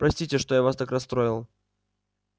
простите что я вас так расстроил